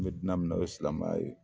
N bɛ dina min na o ye silamɛnya ye.